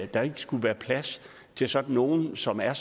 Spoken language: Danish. der ikke skulle være plads til sådan nogle som er